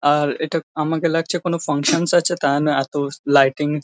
আর এটা আমাকে লাগছে কোনো ফাঙ্কশনস আছে তা না এতো লাইটিং ।